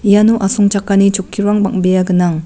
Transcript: iano asongchakani chokkirang bang·bea gnang.